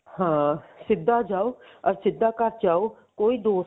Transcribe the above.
ਹਾਂ ਸਿੱਧਾ ਜਾਓ ਅਰ ਸਿੱਧਾ ਘਰ ਚ ਆਓ ਕੋਈ ਦੋਸਤ